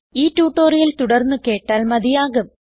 ഈ ട്യൂട്ടോറിയൽ തുടർന്ന് കേട്ടാൽ മതിയാകും